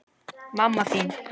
Mamma þín